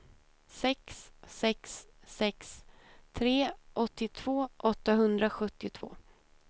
sex sex sex tre åttiotvå åttahundrasjuttiotvå